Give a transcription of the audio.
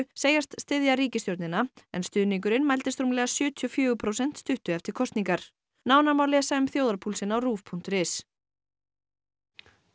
segist styðja ríkisstjórnina en stuðningurinn mældist rúmlega sjötíu og fjögur prósent stuttu eftir kosningar nánar má lesa um þjóðarpúlsinn á RÚV punktur is og